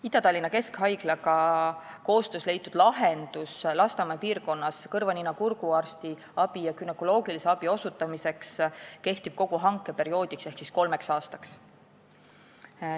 " Ida-Tallinna Keskhaiglaga koostöös leitud lahendus Lasnamäe piirkonnas kõrva-nina-kurguarsti ja günekoloogilise abi osutamiseks kehtib kogu hankeperioodi ehk kolm aastat.